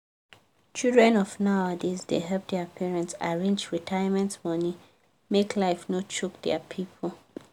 children of nowadays da help dia parents arrange retirement money make life no choke dia people